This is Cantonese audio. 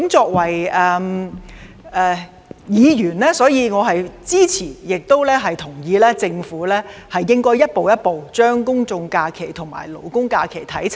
作為議員，我支持和同意政府應逐步將勞工假期與公眾假期看齊。